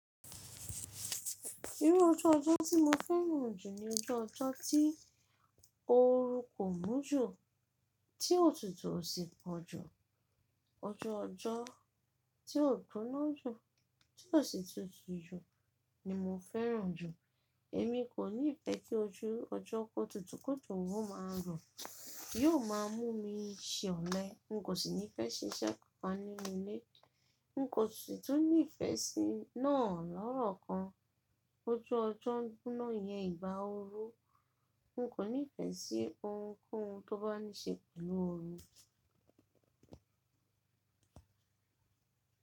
Irú ọju ọjọ́ tí mo fẹ́ràn jù ni ọju ọjọ́ tí ooru kò mú jù, tí òtútù ò sí pọ̀ jù. Ọju ọjọ́ tí ò gbóná jù, tí ò sí tutù jù ni mo fẹ́ràn jù. Èmi kò nífẹ́ kí ojú ọjọ́ kó tutù ki ojo o má a rọ. Yó má a mú mi ṣẹ olẹ̀. N kò sì ní fẹ́ ṣiṣẹ́ kankan nínú ilé. N kò sì tún ní ìfẹ́ sí náà lọ́rọ̀ kan. Ọjọ́ ọjọ́ dúná yẹn ìbá oru. Nko ni fé sí ohunkóhun tó bá ní se pèlú òru.